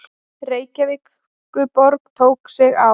Reykjavíkurborg tók sig á.